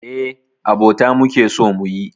Eh, abota muke so muyi.